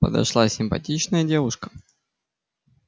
подошла симпатичная девушка